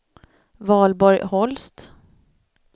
Valborg Holst